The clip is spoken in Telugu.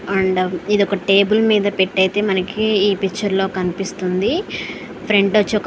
అండం ఇది ఒక టేబుల్ మీద పెట్టి అయితే మనకు ఈ పిక్చర్ లో కనిపిస్తుంది. ఫ్రంట్ వచ్చి--